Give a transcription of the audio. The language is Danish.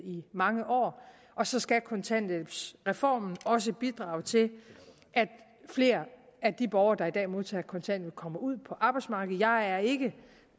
i mange år og så skal kontanthjælpsreformen også bidrage til at flere af de borgere der i dag modtager kontanthjælp kommer ud på arbejdsmarkedet jeg er ikke